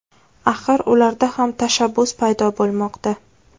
Axir ularda ham tashabbus paydo bo‘lmoqda.